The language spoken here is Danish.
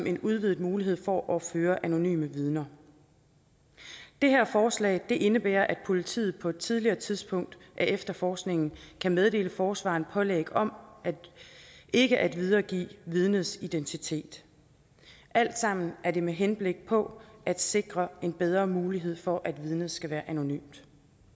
en udvidet mulighed for at føre anonyme vidner det her forslag indebærer at politiet på et tidligere tidspunkt af efterforskningen kan meddele forsvareren pålæg om ikke at videregive vidnets identitet alt sammen er det med henblik på at sikre en bedre mulighed for at vidnet skal være anonymt